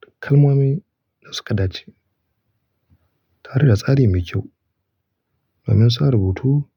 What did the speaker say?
da kalmomi dasuka dace, tare da tsari mai kyau domin sa rubutu